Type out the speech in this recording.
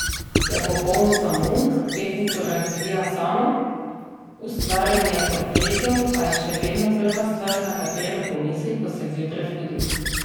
Je popoln samouk, tehniko razvija sama, ustvarjanje portretov pa je še vedno prva stvar, na katero pomisli, ko se zjutraj zbudi.